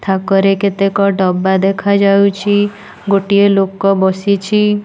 ଥାକରେ କେତେକ ଡବା ଦେଖା ଯାଉଚି। ଗୋଟିଏ ଲୋକ ବସିଛି।